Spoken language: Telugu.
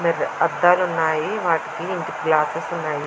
అద్దాలు ఉన్నాయి. వాటికి ఇంటికి గ్లాసెస్ ఉన్నాయి.